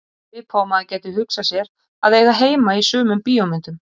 Svipað og maður gæti hugsað sér að eiga heima í sumum bíómyndum.